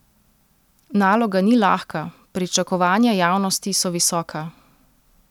Naloga ni lahka, pričakovanja javnosti so visoka.